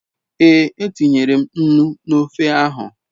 Ee, e tinyere m nnu n'ofe ahu